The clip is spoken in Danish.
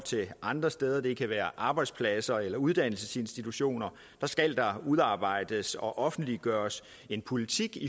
andre steder det kan være arbejdspladser eller uddannelsesinstitutioner udarbejdes og offentliggøres en politik